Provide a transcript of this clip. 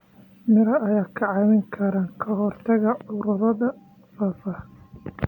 Miraha ayaa kaa caawin kara ka hortagga cudurrada faafa.